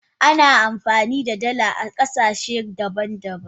Ana amfani da dala a kasashe daban daban.